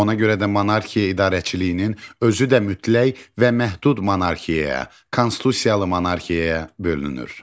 Ona görə də monarxiya idarəçiliyinin özü də mütləq və məhdud monarxiyaya, konstitusiyalı monarxiyaya bölünür.